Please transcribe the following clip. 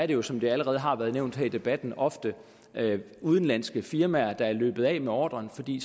det jo som der allerede har været nævnt her i debatten ofte er udenlandske firmaer der er løbet af med ordren fordi